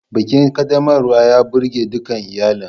Bikin ƙaddamarwa ya burgewa dukan iyalin.